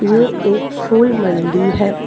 ये एक फूल मंडी है।